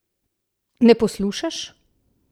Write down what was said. Ne poslušaš!